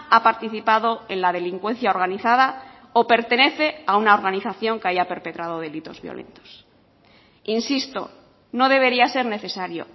ha participado en la delincuencia organizada o pertenece a una organización que haya perpetrado delitos violentos insisto no debería ser necesario